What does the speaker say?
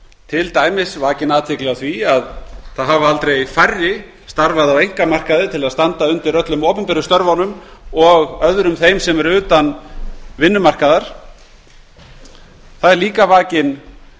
til dæmis er vakin athygli á því að aldrei hafa færri starfað á einkamarkaði til að standa undir öllum opinberu störfunum og öðrum þeim sem eru utan vinnumarkaðar einnig er vakin